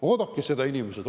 Oodake, inimesed!